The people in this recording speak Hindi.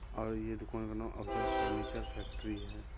और ये दूकान का नाम अफज़ल फर्नीचर फैक्टरी है।